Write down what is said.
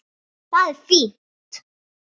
Það er fínt.